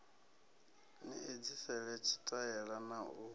ni edzisele tshitaela na u